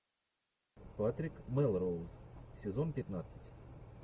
патрик мелроуз сезон пятнадцать